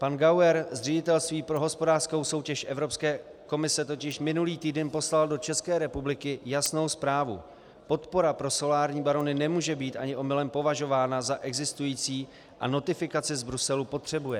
Pan Gauer z Ředitelství pro hospodářskou soutěž Evropské komise totiž minulý týden poslal do České republiky jasnou zprávu: Podpora pro solární barony nemůže být ani omylem považována za existující a notifikaci z Bruselu potřebuje.